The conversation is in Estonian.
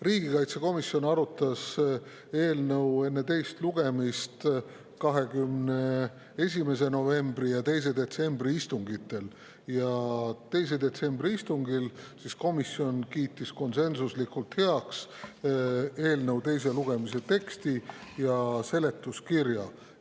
Riigikaitsekomisjon arutas eelnõu enne teist lugemist 21. novembri ja 2. detsembri istungil ning 2. detsembri istungil kiitis komisjon konsensuslikult heaks eelnõu teise lugemise teksti ja seletuskirja.